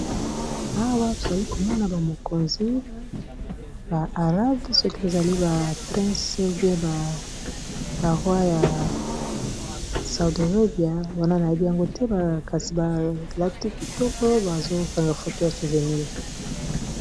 Awa tozali komona ba mokonzi ba arabe soki bozali ba princes ou bien ba rois ya saudi arabia wana nayebi yango te kasi balati kitoko bazokanga photo ya souvenirs.